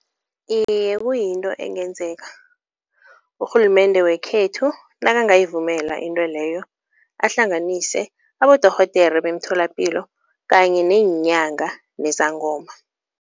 Iye kuyinto engenzeka, urhulumende wekhethu nakangayivumela into leyo, ahlanganise abodorhodere bemtholapilo kanye neenyanga nezangoma.